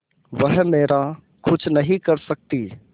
वह मेरा कुछ नहीं कर सकती